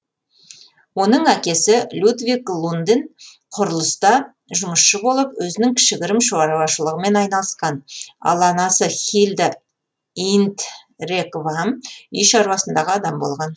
оның әкесі людвик лунден құрылыста жұмысшы болып өзінің кішігірім шаруашылығымен айналысқан ал анасы хильда индреквам үй шаруасындағы адам болған